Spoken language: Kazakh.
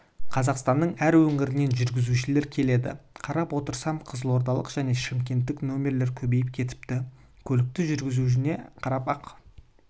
қазақстанның әр өңірінен жүргізушілер келеді қарап отырсам қызылордалық және шымкенттік нөмірлер көбейіп кетіпті көлікті жүргізуіне қарап-ақ